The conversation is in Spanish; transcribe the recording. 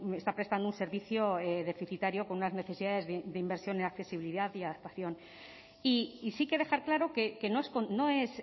está prestando un servicio deficitario con unas necesidades de inversión en accesibilidad y adaptación y sí que dejar claro que no es